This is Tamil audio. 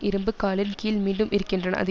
இரும்பு காலின் கீழ் மீண்டும் இருக்கின்றனர் அது